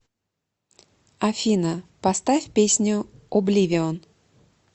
афина поставь песню обливион